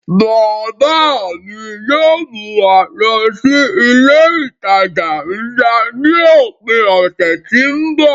Bàbá à mi yóò mú wa lọ sí ilé-ìtàjà ńlá ni òpin ọ̀sẹ̀ tí ń bọ̀.